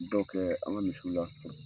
dɔw kɛ an ka misiw la.